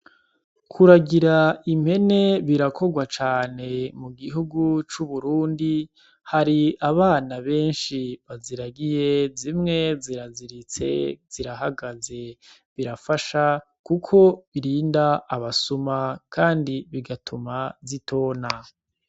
Kuragira impene birakorwa cane mu gihugu c’Uburundi. Hari abana benshi baziragiye zimwe zirazirizitse zirahagaze, birafasha kuko birinda abasuma kandi bigatuma zitona.